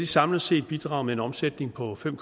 samlet set bidraget med en omsætning på fem